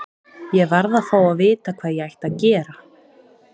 Ég varð að fá að vita hvað ég ætti að gera.